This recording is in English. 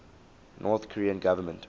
north korean government